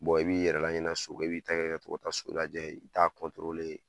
i b'i yɛrɛ laɲina so kɔ i b'i ta kɛ ka tɔw ka so lajɛ i t'a